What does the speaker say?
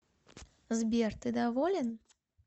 сбер ты доволен